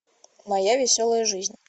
моя веселая жизнь